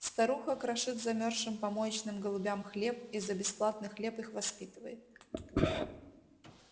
старуха крошит замёрзшим помоечным голубям хлеб и за бесплатный хлеб их воспитывает